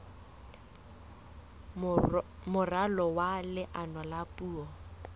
moralo wa leano la puo